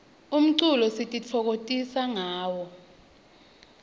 umculo sititfokokotisa ngawo